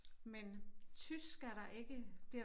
Men tysk er der ikke bliver